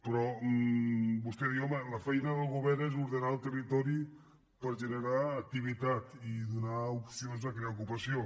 però vostè diu home la feina del govern és ordenar el territori per generar activitat i donar opcions de crear ocupa·ció